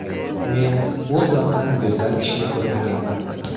Men U zotdan go‘zal kishini ko‘rmaganman”.